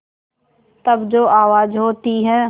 तब जो आवाज़ होती है